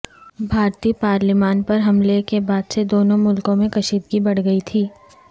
بھارتی پالیمان پر حملے کے بعد سےدونوں ملکوں میں کشدیگی بڑھ گئی تھی